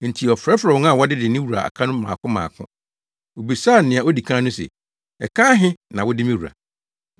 “Enti ɔfrɛfrɛɛ wɔn a wɔdede ne wura aka no mmaako mmaako. Obisaa nea odi kan no se, ‘Ɛka ahe na wode me wura?’